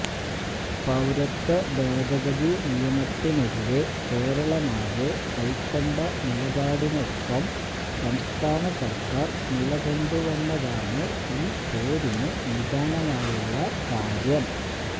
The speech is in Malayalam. പൌരത്വ ഭേദഗതി നിയമത്തിനെതിരെ കേരളമാകെ കൈക്കൊണ്ട നിലപാടിനൊപ്പം സംസ്ഥാന സര്ക്കാര് നിലകൊണ്ടുവെന്നതാണ് ഈ പോരിന് നിദാനമായിട്ടുള്ള കാര്യം